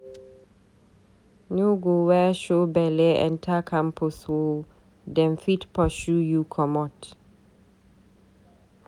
No go wear show belle enta campus o, dem fit pursue you comot.